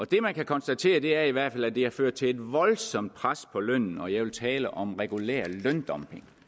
det man kan konstatere er i hvert fald at det har ført til et voldsomt pres på lønnen og jeg vil tale om regulær løndumping